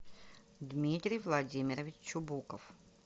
дмитрий владимирович чубуков